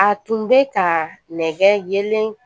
A tun bɛ ka nɛgɛlen